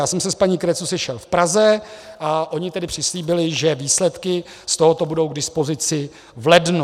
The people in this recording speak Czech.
Já jsem se s paní Cretu sešel v Praze a oni tedy přislíbili, že výsledky z tohoto budou k dispozici v lednu.